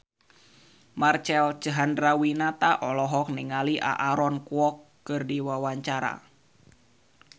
Marcel Chandrawinata olohok ningali Aaron Kwok keur diwawancara